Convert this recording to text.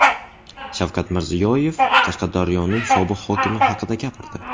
Shavkat Mirziyoyev Qashqadaryoning sobiq hokimi haqida gapirdi.